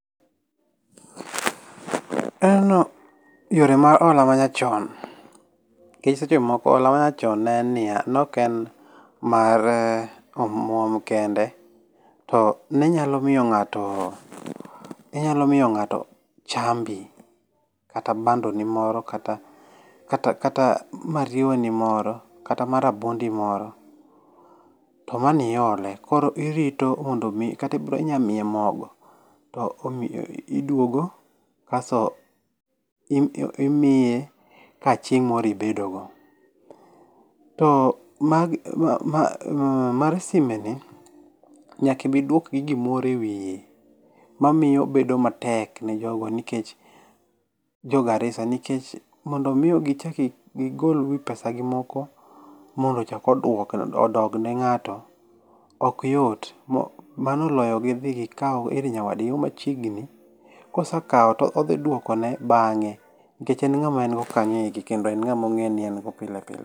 Yore ma hola manyachon, nkech seche moko hola manyachon neen niya noken mar omwom kende, to ninyalo mio ng'ato inyalo mio ng'ato chambi, kata bando ni moro kata kata kata mariewa ni moro kata ma rabuondi moro. To mani ole. Koro irito mondo mi kati bro inya mie mogo to omi iduogo kaso im imie ka chieng' moro ibedogo. To mag ma mar sime ni, nyaka ibidwuok gi gimoro e ewie, mamio obedo matek ne jogo nikech jo Garissa, nkech mondo mi o gichaki gigol wii pesa gi moko mondo chako oduok odogne ng'ato okyot. M mano oloyo gidhi gikau ir nyawadgi mo machiegni. Kosakao to odhi dwokone bang'e. Nkech en ng'ama engo kanyo eki kendo en ng'ama ong'e ni engo pilepile.